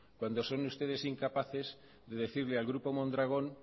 cuando son ustedes incapaces de decirle al grupo mondragón